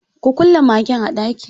Ku kulle magen a ɗaki.